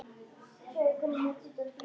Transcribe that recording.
Pabbi hans?